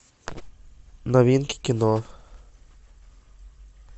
новинки кино